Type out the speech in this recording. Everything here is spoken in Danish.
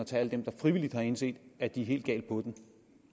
tage alle dem der frivilligt har indset at de er helt gal på den